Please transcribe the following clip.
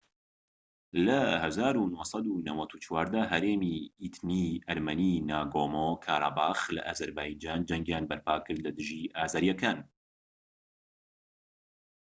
لە ١٩٩٤ دا هەرێمی ئیتنیی ئەرمەنیی ناگۆمۆ-کاراباخ لە ئازەربایجان جەنگیان بەرپا کرد لە دژی ئازەریەکان